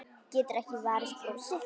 Getur ekki varist brosi.